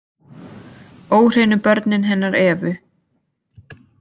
Óhreinu börnin hennar Evu